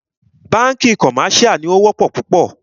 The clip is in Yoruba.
Bánkì commercial ní o wọ́pọ̀ púpọ̀.